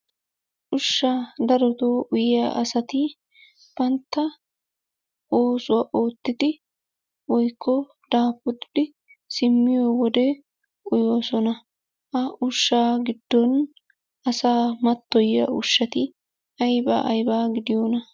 Ushsha daroto uyyiya asati bantta oosuwa oottidi woykko daafuridi simmiyo wode uyyoosona. Ha ushsha giddon asaa mattoyiya ushshati aybba aybba gidiyoona?